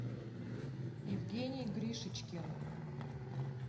евгений гришичкин